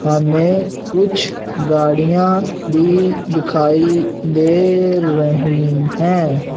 हमें कुछ गाड़ियां भी दिखाई दे रही हैं।